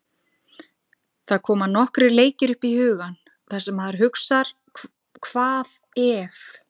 Það koma nokkrir leikir upp í hugann þar sem maður hugsar hvað ef?